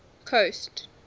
coast